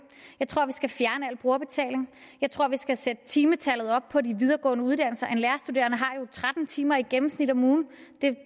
jeg tror vi skal fjerne al brugerbetaling jeg tror vi skal sætte timetallet op på de videregående uddannelser en lærerstuderende har jo tretten timer i gennemsnit om ugen det